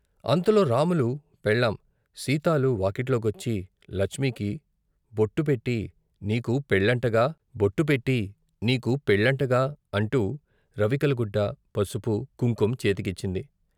అంతలో రాములు పెళ్ళాం సీతాలు వాకిట్లోకొచ్చి లచ్మికి బొట్టు పెట్టి నీకు పెళ్ళంటగా బొట్టు పెట్టి నీకు పెళ్ళంటగా అంటూ రవికెలగుడ్డ, పసుపు, కుంకుం చేతికిచ్చింది.